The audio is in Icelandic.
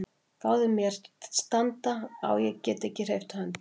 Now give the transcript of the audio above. Fáðu mér stað til að standa á og ég get hreyft jörðina!